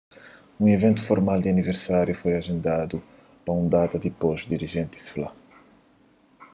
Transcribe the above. un iventu formal di aniversáriu foi ajendadu pa un data dipôs dirijentis fla